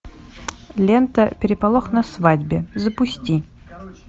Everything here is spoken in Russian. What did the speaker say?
лента переполох на свадьбе запусти